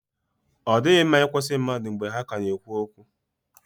Ọ dịghị mma ị kwụsị mmadụ mgbe ha ka na-ekwu okwu.